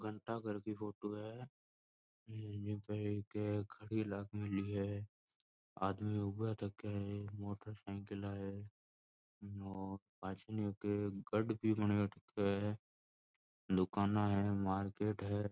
घंटाघर की फोटो है घड़ी लागेली है आदमी ऊपर देखे है मोटरसाइकिल है और पाछे ईके गढ भी बना रखा है दुकाना है मार्किट है।